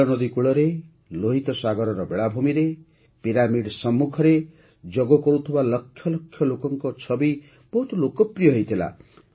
ନୀଳନଦୀ କୂଳରେ ଲୋହିତ ସାଗରର ବେଳାଭୂମିରେ ଓ ପିରାମିଡ ସମ୍ମୁଖରେ ଯୋଗ କରୁଥିବା ଲକ୍ଷ ଲକ୍ଷ ଲୋକଙ୍କ ଛବି ବହୁତ ଲୋକପ୍ରିୟ ହୋଇଥିଲା